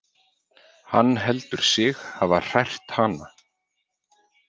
Hann heldur sig hafa hrært hana.